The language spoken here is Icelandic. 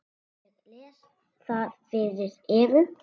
Ég les það fyrir Evu.